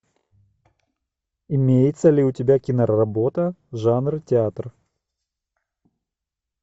имеется ли у тебя киноработа жанр театр